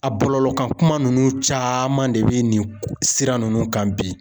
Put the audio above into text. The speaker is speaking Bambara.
A bɔlɔlɔ kan kuma ninnu caman de bɛ nin sira ninnu kan bi.